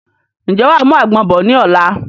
Ǹjẹ́ wàá mú àgbọ̀n bọ̀ ni ọ̀la?